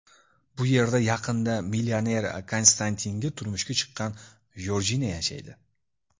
Bu yerda yaqinda millioner Konstantinga turmushga chiqqan Jorjina yashaydi.